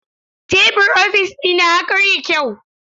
Tebur ofis dina ya karye yau.